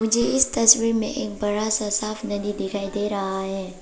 मुझे इस तस्वीर में एक बड़ा सा साफ नदी दिखाई दे रहा है।